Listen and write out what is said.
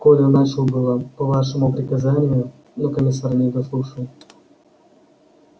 коля начал было по вашему приказанию но комиссар не дослушал